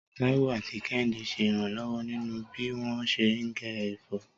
Táíwò àti Kẹ́hìndé ṣe ìrànlọ́wọ́ nínú bí wọ́n ṣe ń gé ẹ̀fọ́.